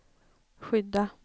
skydda